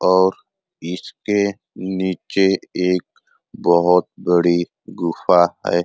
और इसके नीचे एक बोहोत बड़ी गुफ़ा है।